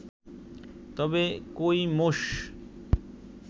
তবে কই মোষ